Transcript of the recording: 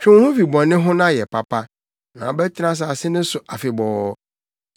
Twe wo ho fi bɔne ho na yɛ papa na wobɛtena asase no so afebɔɔ.